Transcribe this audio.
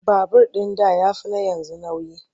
Babur ɗin da ya fi na yanzu nauyi.